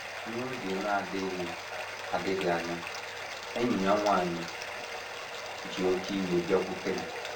N’oge na - adịghị adịghị anya, enyi ya nwanyị ji oké iwe bịakwute m.